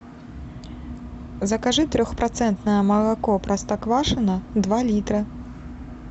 закажи трех процентное молоко простоквашино два литра